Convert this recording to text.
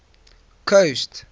coast